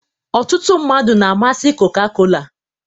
ọtụtụ mmadụ na-amasị coca-cola